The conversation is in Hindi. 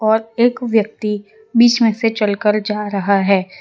अ एक व्यक्ति बीच में से चल कर जा रहा है।